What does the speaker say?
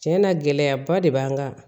Cɛn na gɛlɛyaba de b'an kan